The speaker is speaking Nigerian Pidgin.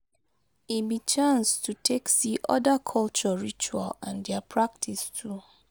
E be chance to take see oda culture ritual and dia practice too